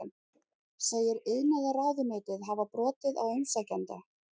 Segir iðnaðarráðuneytið hafa brotið á umsækjanda